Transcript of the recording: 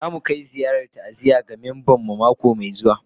Za mu kai ziyarar ta'aziyya ga memban mu mako mai zuwa